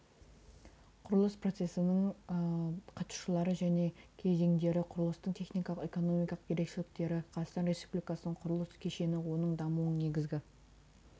құрылыс процесінің қатысушылары және кезеңдері құрылыстың техникалық экономикалық ерекшеліктері қазақстан республикасының құрылыс кешені оның дамуының негізгі